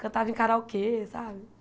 Cantava em karaokê, sabe?